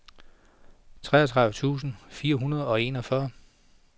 treogtredive tusind fire hundrede og enogfyrre